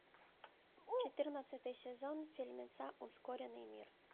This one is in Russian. четырнадцатый сезон фильмеца ускоренный мир